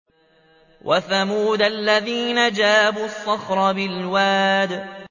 وَثَمُودَ الَّذِينَ جَابُوا الصَّخْرَ بِالْوَادِ